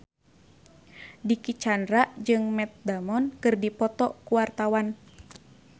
Dicky Chandra jeung Matt Damon keur dipoto ku wartawan